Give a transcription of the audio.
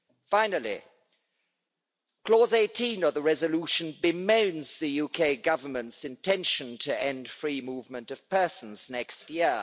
Finally, clause 18 of the resolution bemoans the UK Government's intention to end free movement of persons next year.